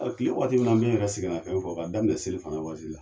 Ɔ tile waati min na, an b'an yɛrɛ sɛgɛnna fiɲɛ bɔ, ka daminɛ seli fana waati la